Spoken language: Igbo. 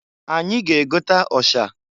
Anyị ga-egota ọsha.